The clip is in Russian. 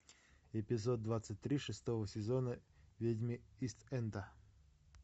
эпизод двадцать три шестого сезона ведьмы ист энда